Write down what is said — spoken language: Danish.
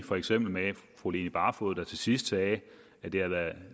for eksempel fru line barfod der til sidst sagde at det har været et